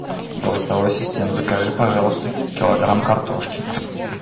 голосовой ассистент закажи пожалуйста килограмм картошки